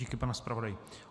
Díky, pane zpravodaji.